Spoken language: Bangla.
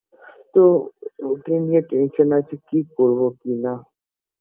তো ওকে নিয়ে tension -এ আছি কি করবো কি না